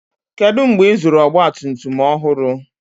kedu mgbe ịzụrụ ọgbatumtum ọhụrụ